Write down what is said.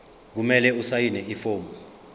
kumele asayine ifomu